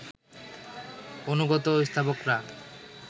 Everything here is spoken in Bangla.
অনুগত স্তাবকরা